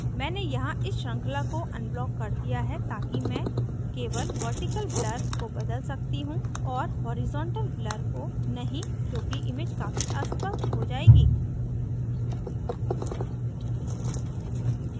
मैंने यहाँ इस श्रृंखला को unblocked कर दिया है ताकि chain केवल vertical blur को बदल सकती हूँ और horizontal blur को नहीं क्योंकि image काफी अस्पष्ट हो जायेगी